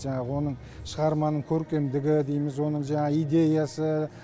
жаңағы оның шығарманың көркемдігі дейміз оның жаңағы идеясы